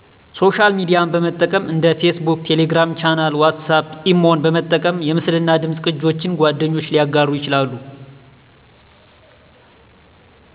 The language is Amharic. ሶሻል ሚድያን በጠቀም እንደ ፌስቡክ፣ ቴሌግራም ቻናል፣ ዋትስአፕ፣ ኢሞን በመጠቀም የምስልናደምፅ ቅጆች ጓደኞች ሊያጋሩ ይችላሉ